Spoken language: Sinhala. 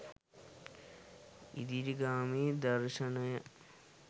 ඉදිරිගාමී දර්ශනය